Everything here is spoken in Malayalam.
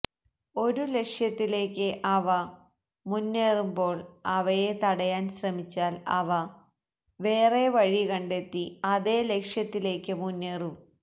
ഒരു ലക്ഷ്യത്തിലേയ്ക്ക് അവ മുന്നേറുന്പോൾ അവയെ തടയാൻ ശ്രമിച്ചാൽ അവ വേറെ വഴി കണ്ടെത്തി അതേ ലക്ഷ്യത്തിലേയ്ക്ക് മുന്നേറും